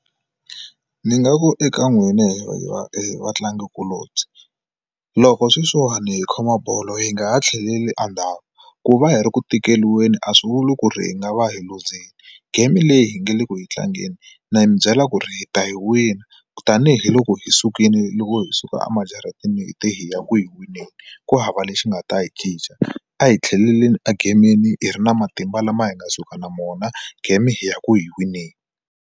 Ni nga ku eka n'wina he he va vatlangikulobye loko sweswiwani hi khoma bolo yi nga ha tlheli a ndhawu ku va hi ri ku tikeliweni a swi vuli ku ri hi nga va hi luzile game leyi hi nga le ku yi tlangeni na mi byela ku ri hi ta yi wina tanihiloko hi sukile loko hi suka emajarateni hi te hi ya ku yi wineni ku hava lexi nga ta hi cinca a hi tlhelelani a gamini hi ri na matimba lama hi nga suka na mo game hi ya ku yi wineni.